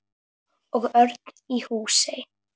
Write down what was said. Og Örn í Húsey.